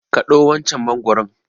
Kaɗo wancan mangwaron!